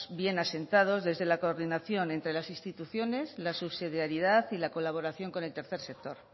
bien asentados desde la coordinación entra las instituciones la subsidiariedad y la colaboración con el tercer sector